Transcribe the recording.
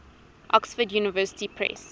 oxford university press